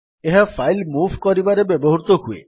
ଏହା file move କରିବାରେ ବ୍ୟବହୃତ ହୁଏ